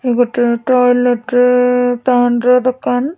ଏ ଗୋଟେ ଟଏଲେଟେ ଟାଉନ ର ଦୋକାନ ।